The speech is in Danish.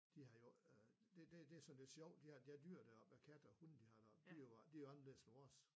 De har jo øh det det det sådan lidt sjovt de har de har dyr deroppe af katte og hunde der har deroppe de er jo anderledes end vores